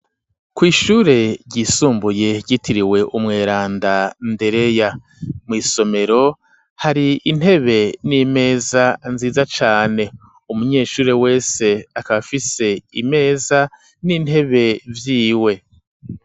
Kw'ishure ryisumbuye ryitiriwe umweranda Ndereya, mw'isomero hari intebe n'imeza nziza cane, umunyeshure wese akaba afise imeza n'intebe vyiwe.